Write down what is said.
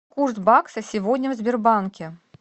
курс бакса сегодня в сбербанке